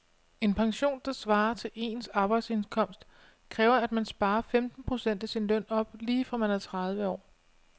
En pension, der svarer til ens arbejdsindkomst, kræver at man sparer femten procent af sin løn op lige fra man er tredive år.